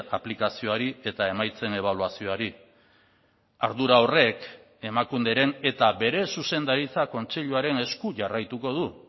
aplikazioari eta emaitzen ebaluazioari ardura horrek emakunderen eta bere zuzendaritza kontseiluaren esku jarraituko du